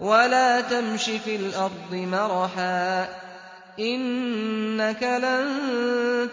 وَلَا تَمْشِ فِي الْأَرْضِ مَرَحًا ۖ إِنَّكَ لَن